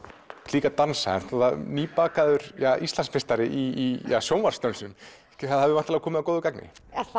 líka að dansa náttúrulega nýbakaður Íslandsmeistari í sjónvarpsdönsum það hefur væntanlega komið að góðu gagni